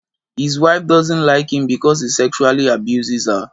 his wife doesn't like him because he sexually abuses her